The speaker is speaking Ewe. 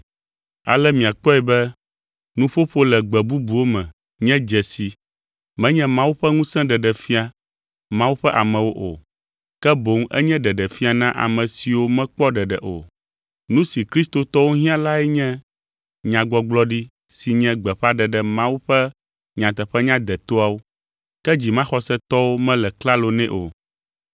Ale miakpɔe be nuƒoƒo le gbe bubuwo me, nye dzesi, menye Mawu ƒe ŋusẽ ɖeɖefia Mawu ƒe amewo o, ke boŋ enye ɖeɖefia na ame siwo mekpɔ ɖeɖe o. Nu si kristotɔwo hiã lae nye nyagbɔgblɔɖi si nye gbeƒãɖeɖe Mawu ƒe nyateƒenya detoawo; ke dzimaxɔsetɔwo mele klalo nɛ o.